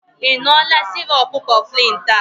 Ị ṅụọla sirop Cofflin taa?